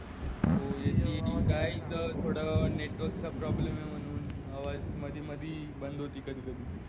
हो येति येति काय इथं थोडं network चा problem आहे म्हणून आवाज मधी मधी बंद होती कधी कधी